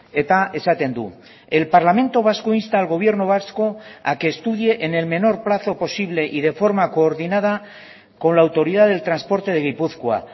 eta esaten du el parlamento vasco insta al gobierno vasco a que estudie en el menor plazo posible y de forma coordinada con la autoridad del transporte de gipuzkoa